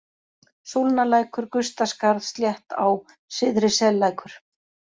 Súlnalækur, Gustaskarð, Sléttá, Syðri-Sellækur